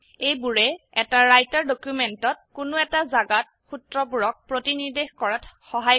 এইবোৰে এটা ৰাইটাৰ ডকিউমেন্টত কোনো এটা জাগাত সুত্ৰবোৰক প্ৰতিনিৰ্দেশ কৰাত সহায় কৰে